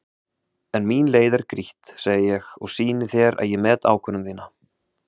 En mín leið er grýtt, segi ég og sýni þér að ég met ákvörðun þína.